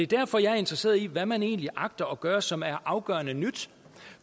derfor jeg er interesseret i hvad man egentlig agter at gøre som er afgørende nyt